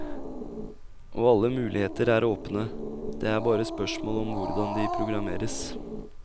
Og alle muligheter er åpne, det er bare spørsmål om hvordan de programmeres.